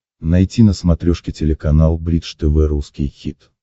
найти на смотрешке телеканал бридж тв русский хит